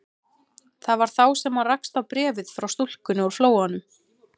Það var þá sem hann rakst á bréfið frá stúlkunni úr Flóanum.